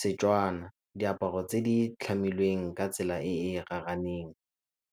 Setswana, diaparo tse di tlhamilweng ka tsela e e .